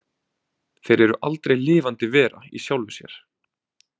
Þeir eru aldrei lifandi vera í sjálfu sér.